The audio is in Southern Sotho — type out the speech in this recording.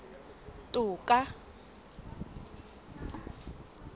toka